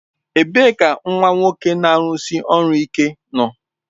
Ebee ka nwa nwoke na-arụsi ọrụ ike nọ?